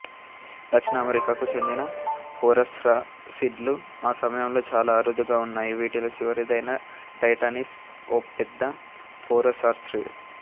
దక్షిణ అమెరికాకు చెందిన ఫోరస్రాసిడ్లు ఈ సమయంలో చాలా అరుదుగా ఉన్నాయి వీటిలో చివరిదైన టైటానిస్ ఓ పెద్ద ఫోరస్రాసిడ్